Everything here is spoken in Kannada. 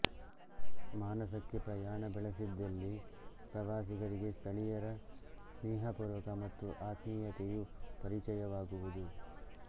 ಮಾನಸಕ್ಕೆ ಪ್ರಯಾಣ ಬೆಳೆಸಿದ್ದಲ್ಲಿ ಪ್ರವಾಸಿಗರಿಗೆ ಸ್ಥಳೀಯರ ಸ್ನೇಹಪೂರ್ವಕ ಮತ್ತು ಆತ್ಮೀಯತೆಯು ಪರಿಚಯವಾಗುವುದು